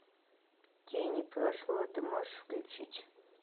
тени прошлого ты можешь включить